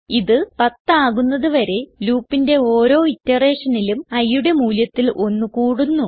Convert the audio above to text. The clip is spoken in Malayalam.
ഇത് 10 ആകുന്നത് വരെ loopന്റെ ഓരോ iterationലും iയുടെ മൂല്യത്തിൽ 1 കൂടുന്നു